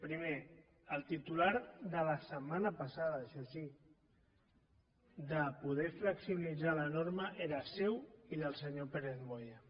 primer el titular de la setmana passada això sí de poder flexibilitzar la norma era seu i del senyor pérez moya